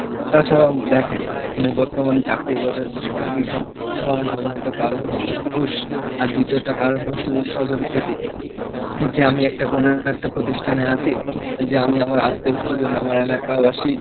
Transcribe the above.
তাছাড়াও দেখেন, বর্তমান চাকরির বাজারটা শঙ্কিত হওয়ার প্রধানত কারণ হচ্ছে ঘুষ, আর দ্বিতীয়টা কারণ হচ্ছে যে স্বজনপ্রীতি, যে আমি একটা কোনো একটা প্রতিষ্ঠানে আছি, যে আমি আমার আত্মীয় স্বজন, আমার এলাকাবাসী,